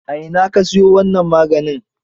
A ina ka siyo wannan maganin?